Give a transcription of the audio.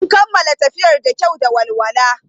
Mun kammala tafiyar da kyau da walwala.